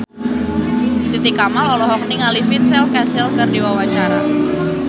Titi Kamal olohok ningali Vincent Cassel keur diwawancara